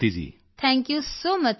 thank you so much ਸਿਰ